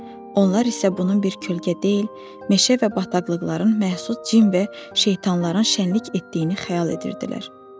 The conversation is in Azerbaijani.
Onlar isə bunun bir kölgə deyil, meşə və bataqlıqların məhsulu cin və şeytanların şənlik etdiyini xəyal edirdilər.